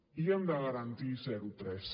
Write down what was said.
i hem de garantir zero tres